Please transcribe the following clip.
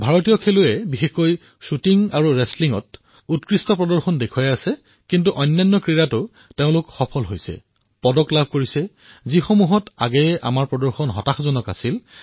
ভাৰতৰ খেলুৱৈ বিশেষকৈ শ্বুটিং আৰু ৰেচলিঙত উৎকৃষ্ট প্ৰদৰ্শন কৰিছে কিন্তু আমাৰ খেলুৱৈসকলে এনে কিছুমান খেলতো পদক জয় কৰিছে যত পূৰ্বতে আমাৰ প্ৰদৰ্শন ভাল নাছিল